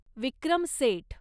Vikram Seth